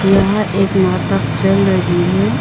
यह एक नाटक चल रही है।